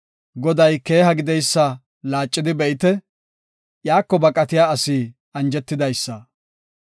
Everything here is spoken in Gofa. Goday keeha gideysa laacidi be7ite; iyako baqatiya asi anjetidaysa.